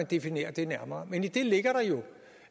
definere det nærmere men i det ligger der jo